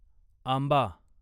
आंबा